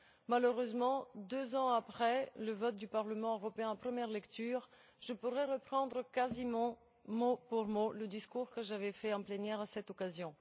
Malheureusement, deux ans après le vote du Parlement européen en première lecture, je pourrais reprendre quasiment mot pour mot le discours que j'avais fait en plénière à cette occasion.